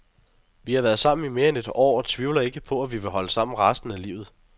Vi har været sammen i mere end et år og tvivler ikke på, at vi vil holde sammen resten af livet.